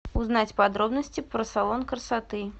узнать подробности про салон красоты